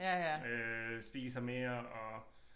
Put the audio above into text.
Øh spiser mere og